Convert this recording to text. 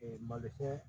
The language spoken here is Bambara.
malosi